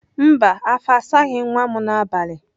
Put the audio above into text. Mba afọ asaghị nwa m n'abalị.